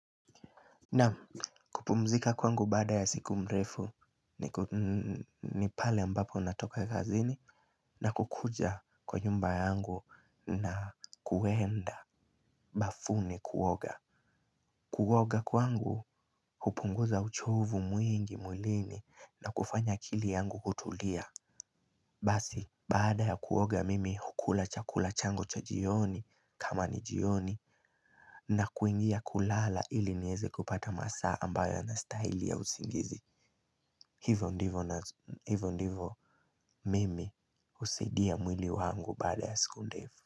Naam, kupumzika kwangu baada ya siku mrefu ni pale ambapo natoka kazini na kukuja kwa nyumba yangu na kuenda bafuni kuoga. Kuoga kwangu hupunguza uchovu mwingi mwilini na kufanya akili yangu kutulia. Basi baada ya kuoga mimi hukula chakula changu cha jioni kama ni jioni na kuingia kulala ili niweze kupata masaa ambayo yana style ya usingizi, hivyo ndivyo hivyo ndivyo mimi husaidia mwili wangu baada ya siku ndefu.